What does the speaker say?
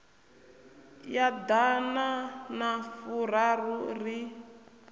ya ḓana na furaru ri